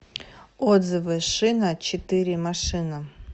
отзывы шиначетыремашина